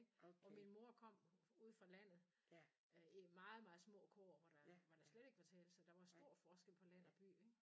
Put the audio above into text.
Og min mor kom ude fra landet øh meget meget små kår hvor der hvor der slet ikke var til så der var stor forskel på land og by ik